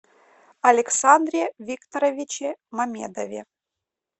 александре викторовиче мамедове